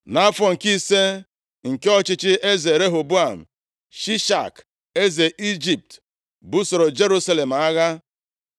Nʼafọ nke ise, nke ọchịchị eze Rehoboam, Shishak, eze Ijipt, busoro Jerusalem agha.